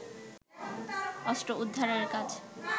অস্ত্র উদ্ধারের কাজ